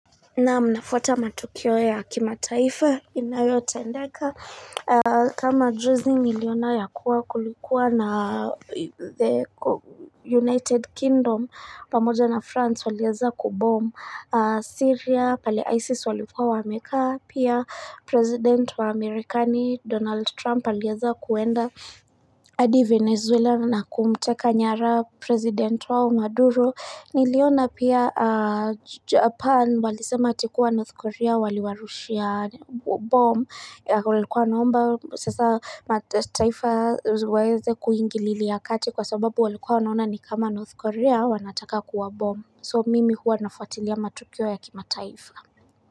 Naam nafwata matukio ya kimataifa inayotendeka aaaaaaa kama juzi niliona ya kuwa kulikuwa na the ko united kingdom pamoja na france walieza kubom Siria pale isis walikua wamekaa, pia president wa Amerikani Donald Trump alieza kuenda eeeeee adi Venezuelan na kumteka nyara president wao Maduro niliona pia aaaaaaaaa Japan walisema ati kuwa North Korea waliwarushia bomb ya walikuwa naomba sasa matataifa waeze kuingililia kati kwa sababu walikuwa wanaona ni kama North Korea wanataka kuwabomb. So mimi huwa nafuatilia matukio ya kimataifa.